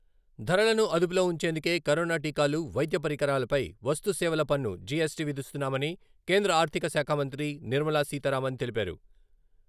ధరలను అదుపులో ఉంచేందుకే కరోనా టీకాలు, వైద్య పరికరాలపై వస్తు సేవల పన్ను, జియస్‌టి విధిస్తున్నామని కేంద్ర ఆర్థిక శాఖామంత్రి నిర్మల సీతారామన్ తెలిపారు.